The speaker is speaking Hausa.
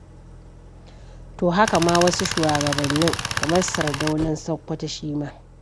To haka ma wasu shugabannin, kamar Sardaunan Sakkwato shi ma.